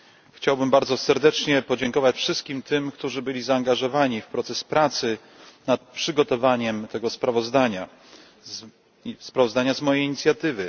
Chciałbym bardzo serdecznie podziękować wszystkim tym, którzy byli zaangażowani w proces pracy nad przygotowaniem tego sprawozdania z mojej inicjatywy.